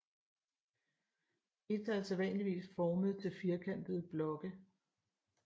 Feta er sædvanligvis formet til firkantede blokke